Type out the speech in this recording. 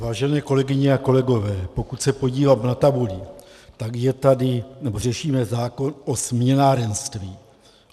Vážené kolegyně a kolegové, pokud se podívám na tabuli, tak je tady... nebo řešíme zákon o směnárenství.